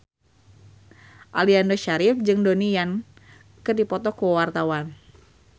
Aliando Syarif jeung Donnie Yan keur dipoto ku wartawan